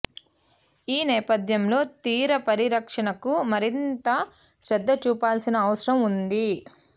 ఈ నేపథ్యంలో తీర పరిరక్షణకు మరింత శ్రద్ధ చూపాల్సిన అవసరం ఉంది